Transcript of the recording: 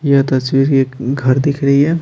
ये तस्वीर ये एक घर दिख रही है।